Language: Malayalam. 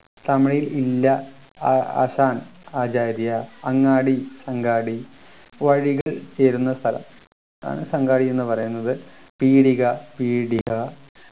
തമിഴിൽ ഇല്ല ആ ശാൻ ആചാര്യ അങ്ങാടി അങ്കാടി വഴികൾ ചേരുന്ന സ്ഥലം ആണ് അങ്കാടി എന്ന് പറയുന്നത് പീടിക പീടിയ